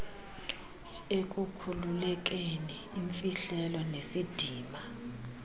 ekukhululekeni imfihlelo nesidima